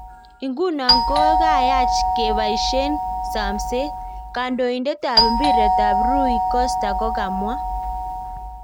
Igunon kokayach ngepaishen samset,"Kandoitet ap piret ap Rui Costa kokomwa.